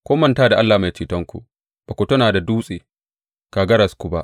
Kun manta da Allah Mai Cetonku; ba ku tuna da Dutse, kagararku ba.